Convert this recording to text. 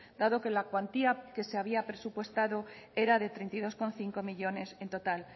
dado que la cuantía que se había presupuestado era de treinta y dos coma cinco millónes en total